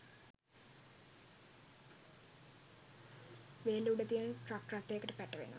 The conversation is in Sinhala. වේල්ල උඩ තිබෙන ට්‍රක් රථයකට පැටවෙනවා.